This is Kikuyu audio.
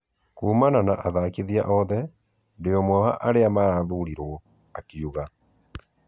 Kumana na athakithia othe, ndĩ ũmwe wa aria marathurirwo," akiuga